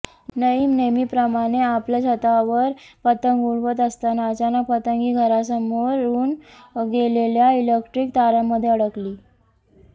नईम नेहमीप्रमाणे आपल्या छतावर पतंग उडवत असताना अचानक पतंग ही घरासमोरून गेलेल्या इलेक्ट्रिक तारांमध्ये अडकली